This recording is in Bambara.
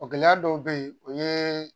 O gɛlɛya dɔw bɛ yen o ye